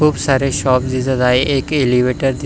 खुप सारे शाॅप दिसत आहेत एक एलिव्हेटर --